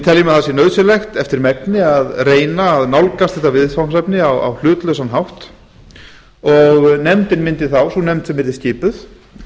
teljum að nauðsynlegt sé eftir megni að reyna að nálgast þetta viðfangsefni á hlutlausan hátt sú nefnd sem yrði skipuð